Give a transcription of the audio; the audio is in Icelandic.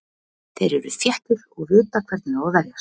Þeir eru þéttir og vita hvernig á að verjast.